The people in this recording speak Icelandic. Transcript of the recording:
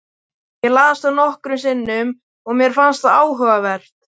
Ég las það nokkrum sinnum og mér fannst það áhugavert.